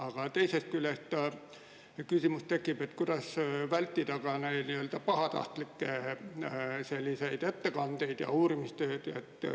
Aga teisest küljest tekib küsimus, kuidas vältida pahatahtlikke ettekandeid ja uurimistööd.